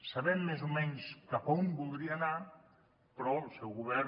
sabem més o menys cap a on voldria anar però el seu govern